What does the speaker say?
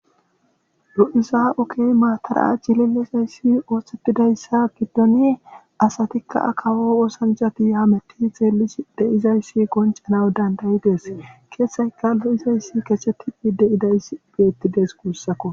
lo'iza oge maatay aacidinne dizayssi osetidayssa gidon asatikka kawo oosanchatikka hametidinne xeelishe dizayssi qonccanawu dandayidees. izi didayssi gashetikka dizayssi beetidees guussakko.